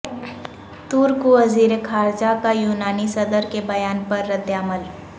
ترک وزیر خارجہ کا یونانی صدر کے بیان پر رد عمل